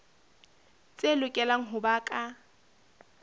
tse lokelang ho ba ka